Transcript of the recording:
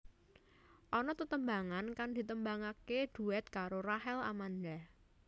Ana tetembangan kang ditembangaké duet karo Rachel Amanda